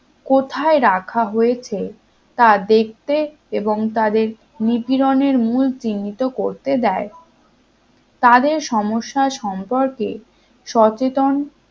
কোথায় রাখা হয়েছে তা দেখতে এবং তাদের নিপীড়নের মূল চিহ্নিত করতে দেয় তাদের সমস্যার সম্পর্কে সচেতন